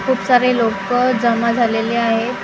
खूप सारे लोकं जमा झालेले आहेत.